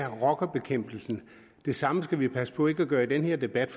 rockerne det samme skal vi passe på ikke at gøre i den her debat